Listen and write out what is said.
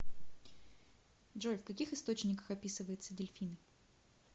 джой в каких источниках описывается дельфины